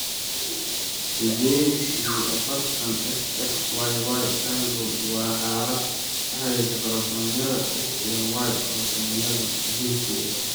Sided iyi afartan, XXYY syndrome waa xaalad la xiriirta koromosoomyada X iyo Y (kormosoomyada jinsiga).